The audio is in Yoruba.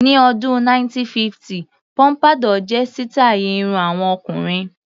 Ní ọdún 1950 póḿpádọ́ọ̀ jẹ́ sítàì irun àwọn ọkùnrin.